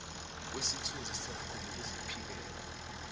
kwesithunzi sakho nokuziphilela